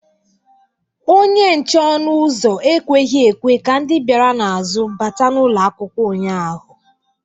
Onye nche ọnụ ụzọ ekweghị ekwe ka ndị bịara n’azụ bata n’ụlọ akwụkwọ ụnyahụ